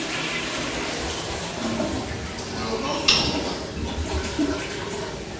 lonongxowa